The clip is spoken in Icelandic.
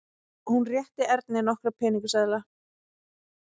Hún rétti Erni nokkra peningaseðla.